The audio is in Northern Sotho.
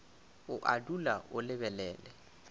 o a dula o lebelela